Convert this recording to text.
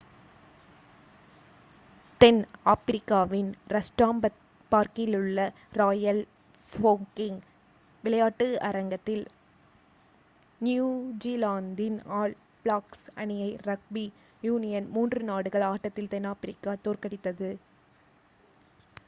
தென் ஆப்பிரிக்காவின் ரஸ்டாம்பார்க்கிலுள்ள Royal Bafokeng விளையாட்டரங்கத்தில் நியூஜிலாந்தின் ஆல் பிளாக்ஸ் அணியை ரக்பி யூனியன் மூன்று நாடுகள் ஆட்டத்தில் தென்னாப்பிரிக்கா தோற்கடித்தது